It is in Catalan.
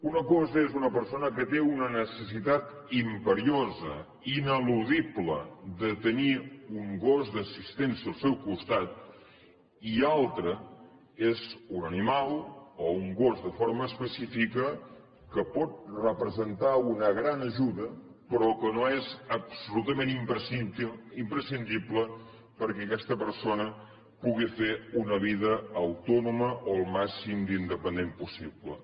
una cosa és una persona que té una necessitat imperiosa ineludible de tenir un gos d’assistència al seu costat i una altra és un animal o un gos de forma específica que pot representar una gran ajuda però que no és absolutament imprescindible perquè aquesta persona pugui fer una vida autònoma o el màxim d’independent possible